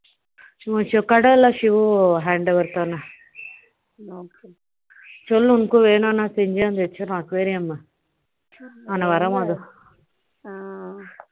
foreign language சொல்லு உனக்கு வேணும்னா foreign language